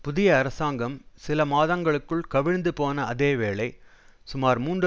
புதிய அரசாங்கம் சில மாதங்களுக்குள் கவிழ்ந்து போன அதே வேளை சுமார் மூன்று